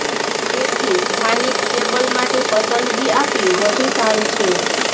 તેથી સ્થાનિક કેબલ માટે પસંદગી આપી વધુ સારું છે